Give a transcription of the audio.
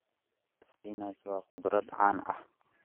Spinach waa khudrad caan ah.